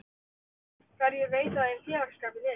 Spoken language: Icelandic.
Hverjir veita þeim félagsskap í liðinu?